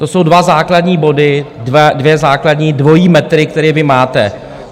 To jsou dva základní body, dva základní dvojí metry, které vy máte.